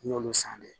N y'olu san dɛ